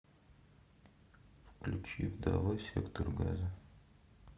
включи вдова сектор газа